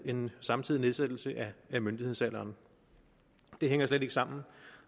en samtidig nedsættelse af myndighedsalderen det hænger slet ikke sammen